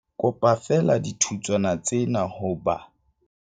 Kopa feela dithutswana tsena ho ba